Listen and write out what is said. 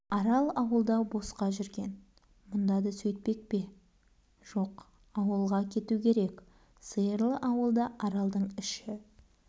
арал ауылда босқа жүрген мұнда да сөйтпек пе жоқ ауылға кету керек сиырлы ауылда аралдың іші